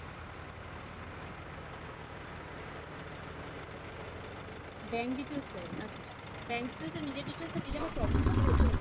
bank details চাইবে আচ্ছা আচ্ছা বাঙ্ক details নিজের details দিলে আবার কোনো problem হবে না তো